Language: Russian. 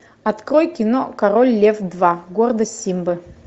открой кино король лев два гордость симбы